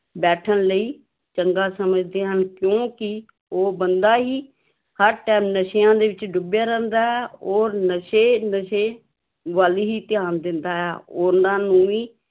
ਬੈਠਣ ਲਈ ਚੰਗਾ ਸਮਝਦੇ ਹਨ ਕਿਉਂਕਿ ਉਹ ਬੰਦਾ ਹੀ ਹਰ time ਨਸ਼ਿਆਂ ਦੇ ਵਿੱਚ ਡੁੱਬਿਆ ਰਹਿੰਦਾ ਹੈ ਔਰ ਨਸ਼ੇ ਨਸ਼ੇ ਵੱਲ ਹੀ ਧਿਆਨ ਦਿੰਦਾ ਹੈ, ਉਹਨਾਂ ਨੂੰ ਵੀ